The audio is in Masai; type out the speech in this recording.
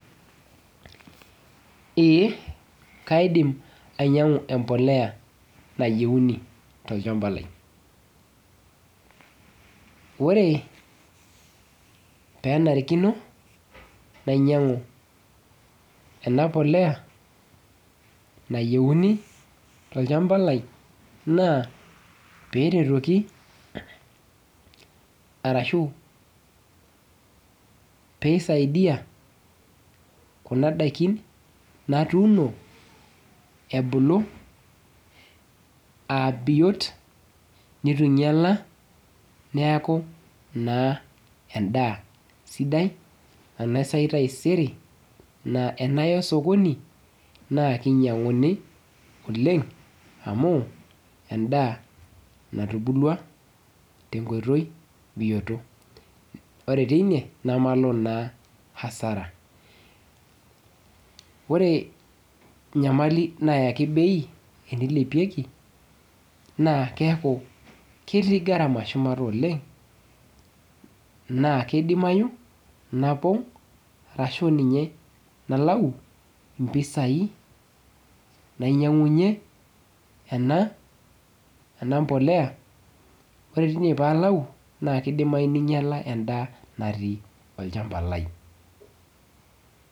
Ee kaidim ainyang'u empolea nayieuni tolchamba lai. Ore penarikino, nainyang'u ena polea, nayieuni tolchamba lai, naa peretoki arashu pisaidia kuna daikin natuuno ebulu abiot, nitu inyala, neeku naa endaa sidai, anaisai taisere, naa enaya osokoni, naa kinyang'uni oleng amu, endaa natubulua, tenkoitoi bioto. Ore teine, namalo naa asara. Ore nyamali nayaki bei enilepieki, naa keeku ketii gharama shumata oleng, naa kidimayu napong', arashu ninye nalau impisai nainyang'unye ena, ena mpolea, ore tine palau, naa kidimayu ninyala endaa natii olchamba lai.